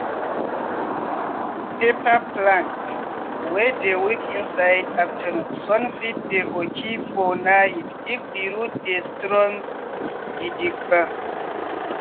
pepper plant wey dey weak inside aftanoon sun fit dey oki for night if di root dey strong gidigba.